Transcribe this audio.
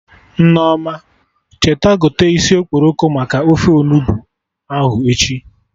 Nneoma, cheta gote isi okporoko maka ofe Onugbu ahụ echi